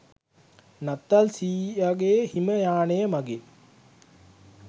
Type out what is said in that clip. නත්තල් සීයගෙ හිම යානය මගින්